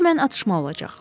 Hökmən atışma olacaq.